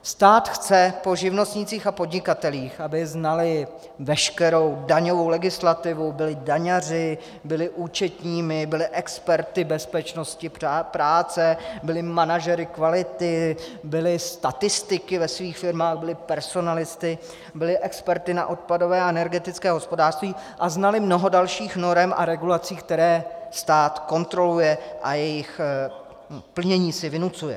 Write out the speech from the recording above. Stát chce po živnostnících a podnikatelích, aby znali veškerou daňovou legislativu, byli daňaři, byli účetními, byli experty bezpečnosti práce, byli manažery kvality, byli statistiky ve svých firmách, byli personalisty, byli experty na odpadové a energetické hospodářství a znali mnoho dalších norem a regulací, které stát kontroluje a jejichž plnění si vynucuje.